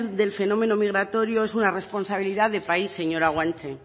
del fenómeno migratorios es una responsabilidad de país señora guanche